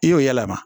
I y'o yɛlɛma